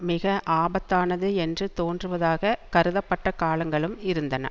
மிக ஆபத்தானது என்று தோன்றுவதாகக் கருதப்பட்ட காலங்களும் இருந்தன